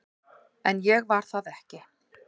En ég var það ekki.